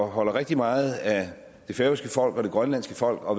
holder rigtig meget af det færøske folk og det grønlandske folk og